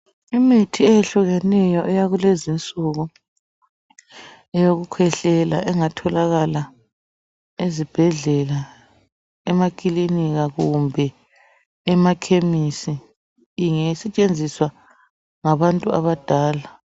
Imithi eyehlukeneyo eyakulezinsuku eyokukhwehlela engatholakala ezibhedlela , emaklinika kumbe emakhemisi ingasetshenziwa ngabantu abadala